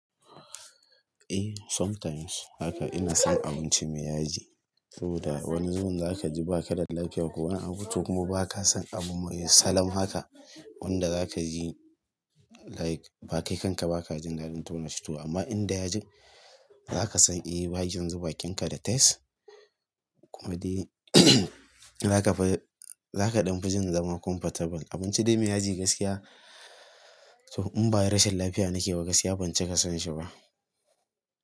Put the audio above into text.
Eh sometimes haka ina son abinci me yaji saboda wani zubin za ka ji ba ka da lafiya ko wani abinci ko kuma ba ka son abu mai salof haka wanda za ka ji like ba kai kanka ba ka jin dadin tauna shi to amma inda ya ji za ka san eh bakin kinka da taste kuma dai za ka fi za ka ɗan fijin zama comfortable. Abinci dai me yaji gaskiya to in ba rashin lafiya na ke ba gaskiya ban cika san shi ba.